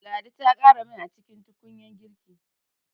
Ladi ta ƙara mai a cikin tukunyar girki.